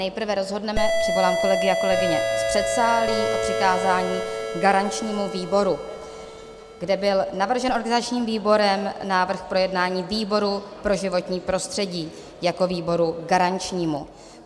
Nejprve rozhodneme - přivolám kolegy a kolegyně z předsálí - přikázání garančnímu výboru, kde byl navržen organizačním výborem návrh k projednání výboru pro životní prostředí jako výboru garančnímu.